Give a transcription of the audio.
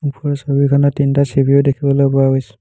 ওপৰৰ ছবিখনত তিনটা চি_পি_ইউ দেখিবলৈ পোৱা গৈছে।